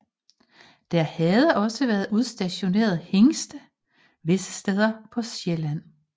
Der havde også været udstationeret hingste visse steder på Sjælland